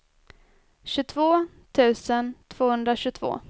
tjugotvå tusen tvåhundratjugotvå